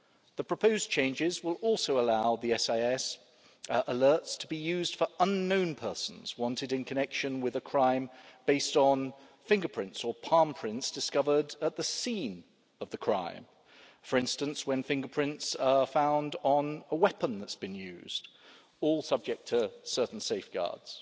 The proposed changes will also allow the SIS alerts to be used for unknown persons wanted in connection with a crime on the basis of fingerprints or palm prints discovered at the scene of the crime for instance, when fingerprints are found on a weapon that has been used all subject to certain safeguards.